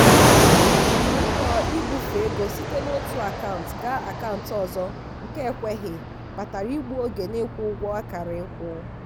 mbọ ibufe ego site n'otu akant ga akant ọzọ nke ekweghị kpatara igbu oge n'ịkwụ ụgwọ akara ịkwụ.